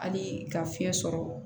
Hali ka fiɲɛ sɔrɔ